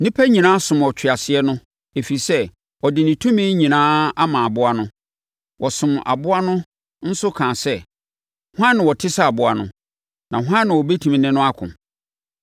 Nnipa nyinaa somm ɔtweaseɛ no, ɛfiri sɛ, ɔde ne tumi nyinaa ama aboa no. Wɔsomm aboa no nso kaa sɛ, “Hwan na ɔte sɛ aboa no? Na hwan na ɔbɛtumi ne no ako?”